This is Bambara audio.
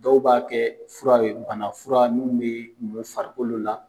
Dɔw b'a kɛ fura ye bana fura min bɛ mun farikolo la.